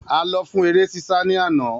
A lọ fún eré sísá ní àná